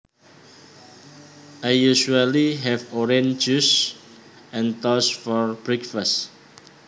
I usually have orange juice and toast for breakfast